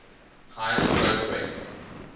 highest growth rates